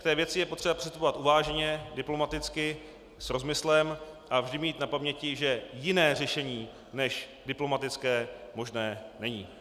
K té věci je potřeba přistupovat uváženě, diplomaticky, s rozmyslem, a vždy mít na paměti, že jiné řešení než diplomatické možné není.